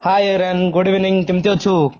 hi Aryan good evening କେମିତି ଅଛୁ?